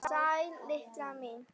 Sæl Lilla mín!